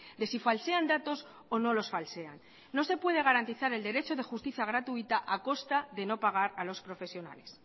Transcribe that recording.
de si falsean datos o no los falsean no se puede garantizar el derecho de justicia gratuita a costa de no pagar a los profesionales